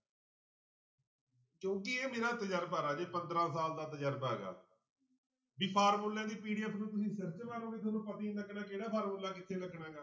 ਕਿਉਂਕਿ ਇਹ ਮੇਰਾ ਤਜਰਬਾ ਰਾਜੇ ਪੰਦਰਾਂ ਸਾਲ ਦਾ ਤਜਰਬਾ ਗਾ ਵੀ ਫਾਰਮੂਲਿਆਂ ਦੀ PDF ਨੂੰ ਤੁਸੀਂ ਸਿਰ 'ਚ ਮਾਰੋਂਗੇ ਤੁਹਾਨੂੰ ਪਤਾ ਹੀ ਨੀ ਲੱਗਣਾ ਕਿਹੜਾ ਫਾਰਮੂਲਾ ਕਿੱਥੇ ਲੱਗਣਾ ਗਾ।